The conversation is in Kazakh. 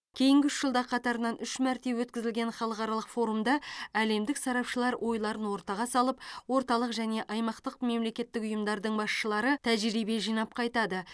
кейінгі үш жылда қатарынан үш мәрте өткізілген халықаралық форумда әлемдік сарапшылар ойларын ортаға салып орталық және аймақтық мемлекеттік ұйымдардың басшылары тәжірибе жинап қайтады